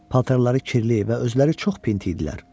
Paltarları kirli və özləri çox pinti idilər.